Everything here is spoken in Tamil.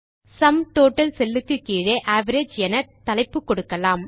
சும் டோட்டல் செல் க்கு கீழே அவரேஜ் என தலைப்பு கொடுக்கலாம்